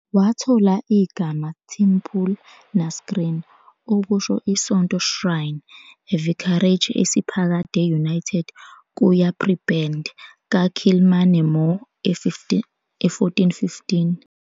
wathola igama "Teampul na scrín," okusho "isonto shrine", a vicarage esiphakade united kuya prebend ka Kilmainemore e 1415.